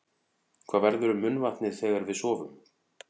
Hvað verður um munnvatnið þegar við sofum?